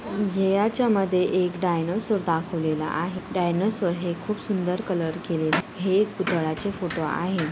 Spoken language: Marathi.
याच्यामध्ये एक डायनोसर दाखवलेल आहे डायनोसर हे खूप सुंदर कलर केलेला हे एक पुतळाचे फोटो आहे.